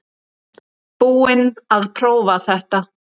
Búinn að prófa þetta